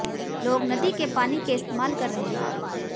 लोग नदी के पानी के इस्तेमाल कर रहे हैं